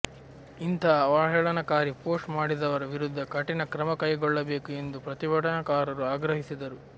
ಇಂಥ ಅವಹೇಳನಕಾರಿ ಪೋಸ್ಟ್ ಮಾಡಿದವರ ವಿರುದ್ಧ ಕಠಿಣ ಕ್ರಮ ಕೈಗೊಳ್ಳಬೇಕು ಎಂದು ಪ್ರತಿಭಟನಾಕಾರರು ಆಗ್ರಹಿಸಿದರು